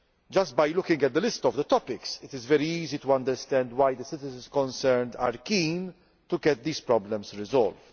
Just by looking at the list of topics, it is very easy to understand why the citizens concerned are keen to get these problems solved.